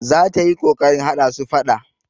Za ta yi ƙoƙarin haɗa su faɗa.